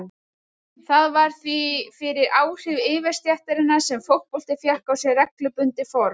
Það var því fyrir áhrif yfirstéttarinnar sem fótbolti fékk á sig reglubundið form.